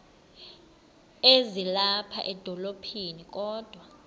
ezilapha edolophini kodwa